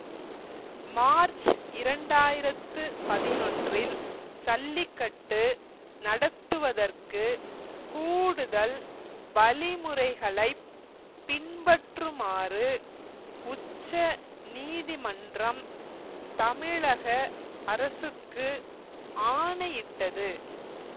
March இரண்டு ஆயிரத்தி பதினொன்றில் சல்லிகட்டு நடத்துவதற்கு கூடுதல் வழிமுறைகளை பின்பற்றுமாறு உச்ச நீதிமன்றம் தமிழக அரசுக்கு ஆணையிட்டது